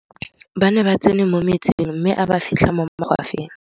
ba ne ba tsene mo metsing mme a ba fitlha mo magwafeng